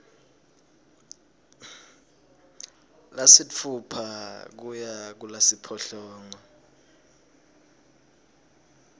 lasitfupha kuya kulasiphohlongo